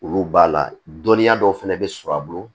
Olu b'a la dɔnniya dɔw fɛnɛ bɛ sɔrɔ a bolo